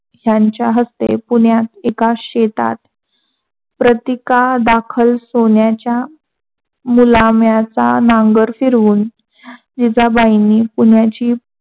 त्यांच्या हस्ते पुण्यात एका शेतात प्रतीका दाखल सोन्याचा मुलामाच्या नांगर फिरवून जीजाबाई पुण्याची